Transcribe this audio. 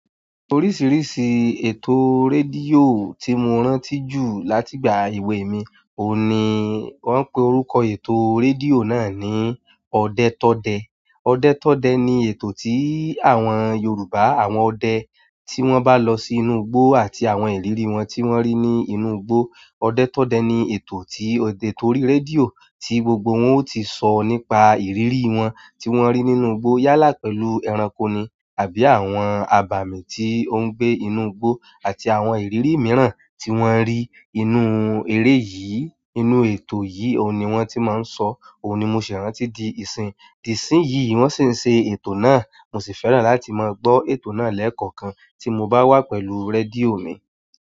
Oríṣìíríṣìí ètò rédíò tí mo rántí jù láti ìgbà èwe mi, òun ni wón ń pe orúkọ ètò rédíò náà ní "Ọdẹ Tọdẹ". Ọdẹ Tọdẹ ni ètò tí àwọn Yorùbá, àwọn ọdẹ tí wón bá lọ sí inú igbó àti àwọn ìrírí wọn tí wón rí ní inú igbó. Ọdẹ Tọdẹ ni ètò ti orí rédíò tí gbogbo wọn o ti sọ̀ nípa ìrírí wọn tí wón rí nínú igbó yálà pẹ̀lú ẹranko ni àbí àwọn abàmì tí ó ń gbé inú igbó àti àwọn ìrírí mìíràn tí wón rí inú eré yìí, inú ètò yìí òun ni wón ti máa ń sọ, òun ni mo ṣì rántí di ìsìn. Di ìsìnyìí wón sì ń ṣe ètò náà, mo sì fẹ́ràn láti máa gbọ́ ètò náà lẹ́ẹ̀kọ̀kan tí mo bá wà pẹ̀lú rédíò mi.